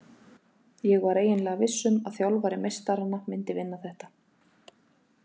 Ég var eiginlega viss um að þjálfari meistaranna myndi vinna þetta,